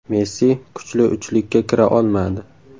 Messi kuchli uchlikka kira olmadi.